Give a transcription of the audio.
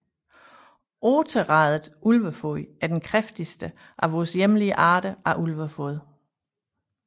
Otteradet ulvefod er den kraftigste af vores hjemlige arter af Ulvefod